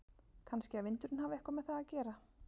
Kannski að vindurinn hafi eitthvað með það að gera?